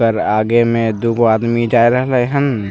पर आगे में दुगो आदमी जाय रहले हन।